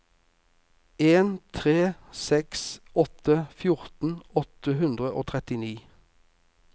en tre seks åtte fjorten åtte hundre og trettini